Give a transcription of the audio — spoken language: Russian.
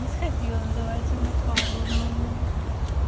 не сходила называется на пару на одну